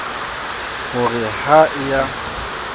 ho re ha e a